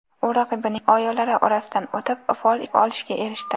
U raqibining oyolari orasidan o‘tib, fol ishlab olishga erishdi.